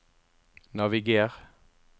naviger